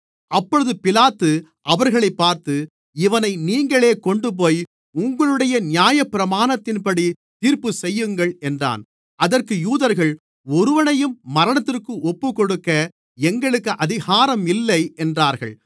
அப்பொழுது பிலாத்து அவர்களைப் பார்த்து இவனை நீங்களே கொண்டுபோய் உங்களுடைய நியாயப்பிரமாணத்தின்படி தீர்ப்பு செய்யுங்கள் என்றான் அதற்கு யூதர்கள் ஒருவனையும் மரணத்திற்கு ஒப்புக்கொடுக்க எங்களுக்கு அதிகாரமில்லை என்றார்கள்